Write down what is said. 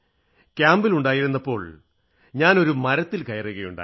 ക്യാമ്പിലായിരുന്നപ്പോൾ ഞാനൊരു മരത്തിൽ കയറുകയുണ്ടായി